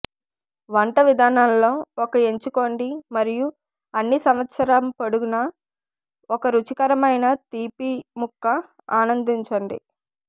వంట విధానాలలో ఒక ఎంచుకోండి మరియు అన్ని సంవత్సరం పొడవునా ఒక రుచికరమైన తీపి ముక్క ఆనందించండి